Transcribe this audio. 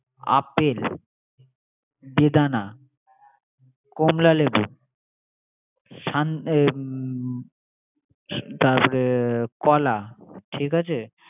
apple, বেদানা, হ্যা, কমলা লেবু, হ্যা হ্যা তারপরে কলা ঠিক আছে